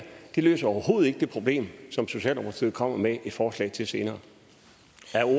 løser overhovedet ikke det problem som socialdemokratiet kommer med et forslag til senere